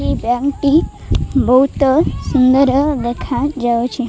ଏହି ବ୍ୟାଙ୍କ୍ ଟି ବହୁତ ସୁନ୍ଦର ଦେଖାଯାଉଛି।